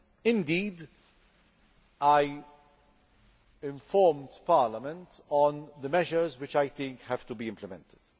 Indeed, I informed Parliament of the measures which I think have to be implemented.